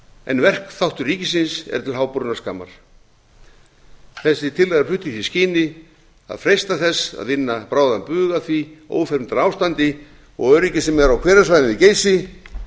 en verkþáttur ríkisins er til háborinnar skammar þessi tillaga er flutt í því skyni að freista þess að vinna bráðan bug á því ófremdarástandi og öryggi sem er á hverasvæðinu geysi